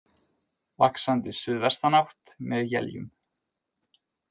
Vaxandi suðvestanátt með éljum